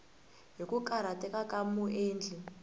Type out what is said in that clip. hi ku karhateka ka muendli